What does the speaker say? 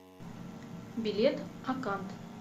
билет акант